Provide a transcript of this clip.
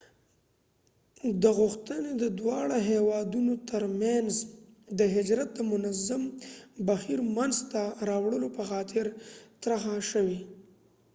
دا غوښتنی د دواړه هیوادونو تر منځ د هجرت د منظم بهیر منځ ته راوړلو په خاطر طرحه شوي